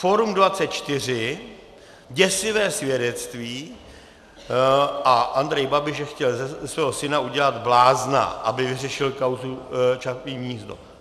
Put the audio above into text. Fórum 24 - Děsivé svědectví a Andrej Babiš, že chtěl ze svého syna udělat blázna, aby vyřešil kauzu Čapí hnízdo.